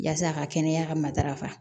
Yasa a ka kɛnɛya ka matarafa